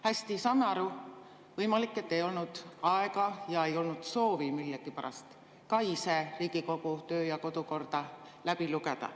Hästi, saan aru, võimalik, et ei olnud aega ja ei olnud soovi millegipärast ka ise Riigikogu töö‑ ja kodukorda läbi lugeda.